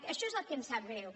això és el que ens sap greu